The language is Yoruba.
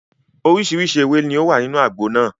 Oríṣiríṣi ewé ni ó wà nínú àgbo náà.